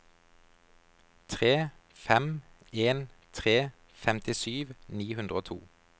tre fem en tre femtisju ni hundre og to